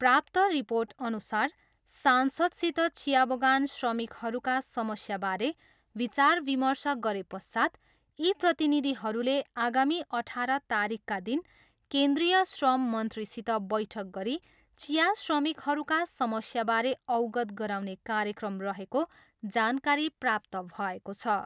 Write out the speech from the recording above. प्राप्त रिर्पोटअनुसार सांसदसित चिया बगान श्रमिकहरूका समस्याबारे विचार विमर्श गरेपश्चात् यी प्रतिनिधिहरूले आगामी अठार तारिखका दिन केन्द्रिय श्रम मन्त्रीसित बैठक गरी चिया श्रमिकहरूका समस्याबारे अवगत गराउने कार्यक्रम रहेको जानकारी प्राप्त भएको छ।